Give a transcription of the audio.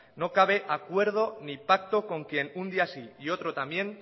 no cabe acuerdo ni pacto con quien un día sí y otro también